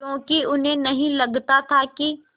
क्योंकि उन्हें नहीं लगता था कि